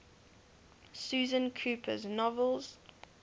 susan cooper's novels